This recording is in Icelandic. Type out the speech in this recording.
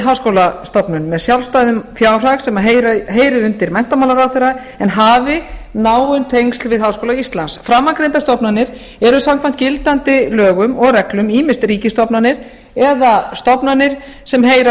háskólastofnun með sjálfstæðum fjárhag sem heyrir undir menntamálaráðherra en hafi náin tengsl við háskóla íslands framangreindar stofnanir eru samkvæmt gildandi lögum og reglum ýmist ríkisstofnanir eða stofnanir sem heyra